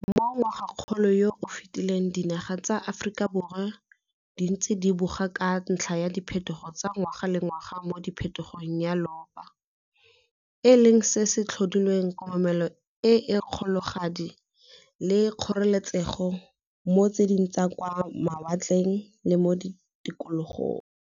Mo ngwagakgolong yo o fetileng dinaga tsa borwa jwa Aforika di ntse di boga ka ntlha ya diphetogo tsa ngwaga le ngwaga mo phetogong ya loapi, e leng se se tlhodileng komelelo e e kgologadi le kgoreletsego mo di tsheding tsa kwa ma watleng le mo Tikologong.